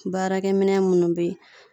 Baarakɛ minɛ munnu be yen.